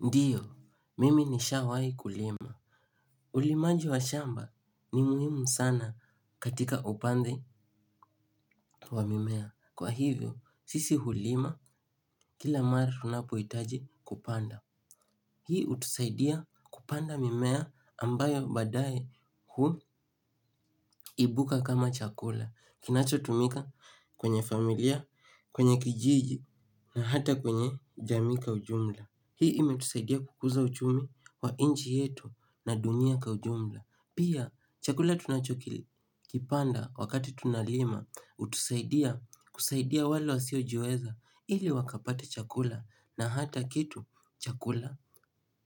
Ndiyo, mimi ni Shawai. Kulima. Ndiyo, mimi ni Shawai. Kulima. Kwa hivyo sisi hulima kila mara tunapohitaji kupanda. Hii utusaidia kupanda mimea ambayo baadae huibuka kama chakula. Kinachotumika kwenye familia, kwenye kijiji na hata kwenye jamii kwa ujumla. Hii imetusaidia kukuza uchumi wa inchi yetu na dunia kwa ujumla pia chakula tunachokipanda wakati tunalima hutusaidia kusaidia wale wasio jiweza ili wakapate chakula na hata kitu chkula.